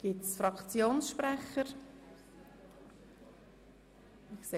Gibt es Fraktionssprecher zu diesem Geschäft?